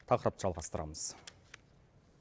тақырыпты жалғастырамыз